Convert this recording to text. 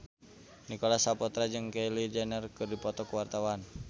Nicholas Saputra jeung Kylie Jenner keur dipoto ku wartawan